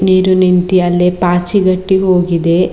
ನೀರು ನಿಂತಿ ಅಲ್ಲೇ ಪಾಚಿ ಗಟ್ಟಿ ಹೋಗಿದೆ.